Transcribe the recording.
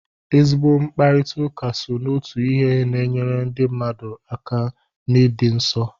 Ezigbo mkparịtaụka so n'otu ihe na-enyere ndị mmadu aka n'ịdị nsọ.